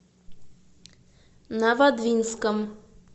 новодвинском